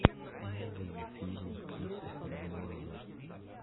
новые фильмы кристофера нолана